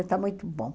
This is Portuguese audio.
Está muito bom.